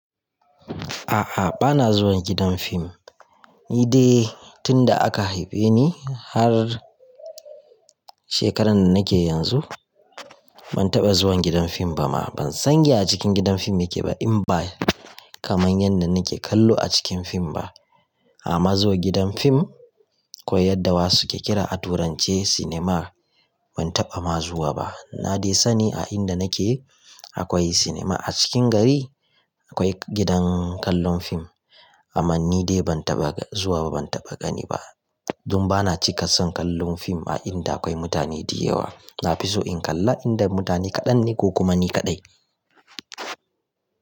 A'a, bana zuwan gidan fim. Ni dai tun da aka haife ni har shekaran da nake yanzu ban taɓa zuwan gidan fim ba ma. Ban san ya a cikin gidan fim yake ba in ba kaman yanda nake kallo a cikin fim ba. Amma zuwa gidan fim ko yadda wasu ke kira a turance cinema ban taɓa ma zuwa ba. Na dai sani a inda nake akwai cinema. A cikin gari akwai gidan kallon fim amma ni dai ban taɓa zuwa ba ban taɓa gani ba don bana cika son kallon fim a inda akwai mutane diyawa. Nafiso in kalla a inda mutane kaɗan ne ko kuma ni kaɗai.